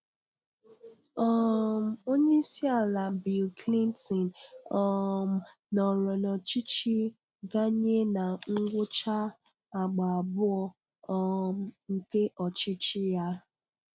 um Onyeisi ala Bill Clinton um nọọrọ n'ọchịchị ganye na ngwụcha àgbá abụọ um nke ọchịchị ya.